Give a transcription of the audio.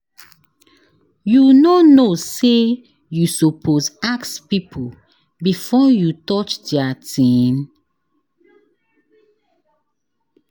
You no know sey you suppose ask pipo before you touch their tin?